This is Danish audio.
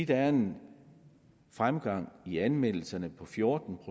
der er en fremgang i anmeldelserne på fjorten